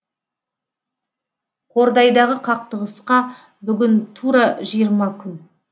қордайдағы қақтығысқа бүгін тура жиырма күн